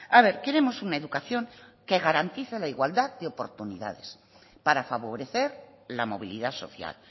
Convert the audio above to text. a ver queremos una educación que garantice la igualdad de oportunidades para favorecer la movilidad social